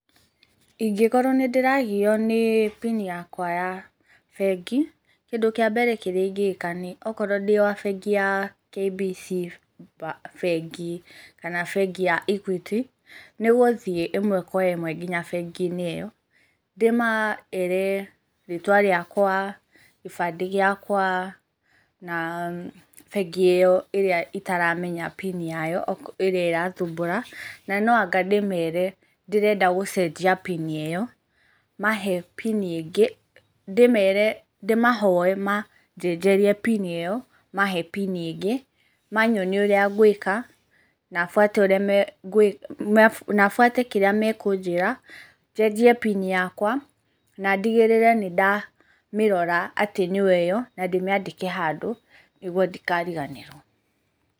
Ingĩkorwo nĩ ndĩragio nĩ PIN yakwa ya bengi, kĩndũ kia mbere kĩrĩa ingĩĩka nĩ okorwo ndĩ wa bengi ya KBC, bengi, kana bengi ya Equity nĩgũthiĩ ĩmwe kwa ĩmwe nginya bengi-inĩ ĩyo ndĩmeere rĩtwa rĩakwa, gĩbandĩ gĩakwa na bengi ĩyo ĩrĩa itaramenya PIN yao ĩrĩa ĩrathumbũra na no anga ndĩ mere ndĩrenda gũcenjia PIN ĩyo mahe PIN ingĩ ndĩmahoe majenjerie PIN ĩyo mahe PIN ĩngi manyonie urĩa ngwĩka na bũate kĩrĩa makũnjĩra njenjie PIN yakwa na ndĩgĩrĩre nĩ ndamirora atĩ nĩyo ĩyo na ndĩmĩandĩke handũ nĩguo ndikariganĩrwo.